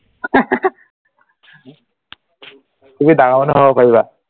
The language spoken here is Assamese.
তুমি ডাঙৰ মানুহ হব পাৰিবা